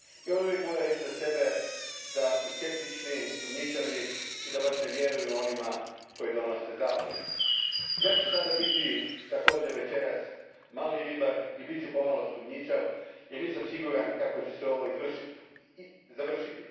I oni uvijek vole reći za sebe da su skeptični, sumnjičavi i da baš ne vjeruju onima koji donose zakone. Ja ću sada, večeras, biti također mali ribar i bit ću pomalo sumnjičav jer nisam siguran kako će se ovo završiti.